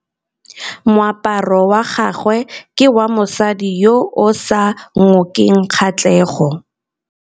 Moaparô wa gagwe ke wa mosadi yo o sa ngôkeng kgatlhegô.